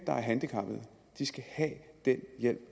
handicappede skal have den hjælp